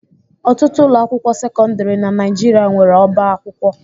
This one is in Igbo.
Ọtụtụ ụlọ akwụkwọ sekọndrị na Nigeria nwere ọba akwụkwọ.